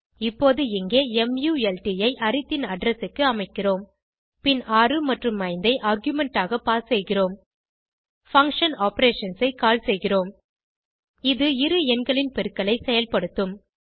இப்போது இங்கே மல்ட் ஐ arithன் அட்ரெஸ் க்கு அமைக்கிறோம் பின் 6 மற்றும் 5 ஐ ஆர்குமென்ட் ஆக பாஸ் செய்கிறோம் பங்ஷன் ஆப்பரேஷன்ஸ் ஐ கால் செய்கிறோம் இது இரு எண்களின் பெருக்கலை செயல்படுத்தும்